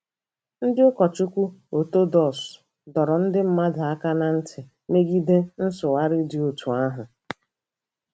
Ndị ụkọchukwu Ọtọdọks dọrọ ndị mmadụ aka ná ntị megide nsụgharị ndị dị otú ahụ.